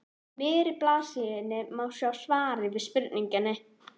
miðri blaðsíðunni má sjá svarið við spurningunni